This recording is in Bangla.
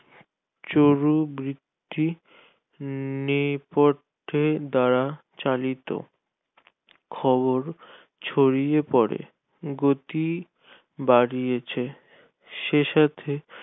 চরু ভিত্তিক নিকটে দ্বারা চালিত খবর ছড়িয়ে পড়ে গতি বাড়িয়েছে সে সাথে